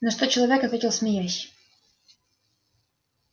на что человек ответил смеясь